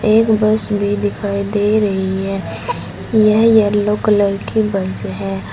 एक बस भी दिखाई दे रही है यह येलो कलर की बस है।